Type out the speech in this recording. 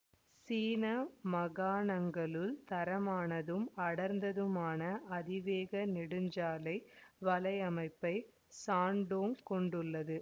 சீன மாகாணங்களுள் தரமானதும் அடர்ந்ததுமான அதிவேக நெடுஞ்சாலை வலையமைப்பை சாண்டோங் கொண்டுள்ளது